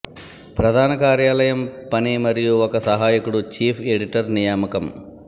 ప్రధాన కార్యాలయం పని మరియు ఒక సహాయకుడు చీఫ్ ఎడిటర్ నియామకం